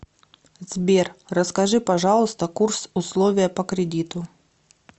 сбер расскажи пожалуйста курс условия по кредиту